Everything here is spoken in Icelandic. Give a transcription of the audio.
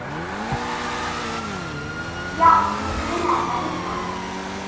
Já, mig grunaði það líka.